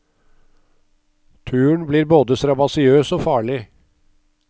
Turen blir både strabasiøs og farlig.